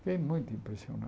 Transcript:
Fiquei muito impressionado.